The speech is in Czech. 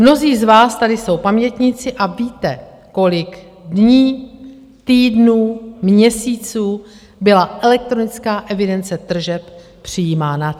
Mnozí z vás tady jsou pamětníci a víte, kolik dní, týdnů, měsíců byla elektronická evidence tržeb přijímána.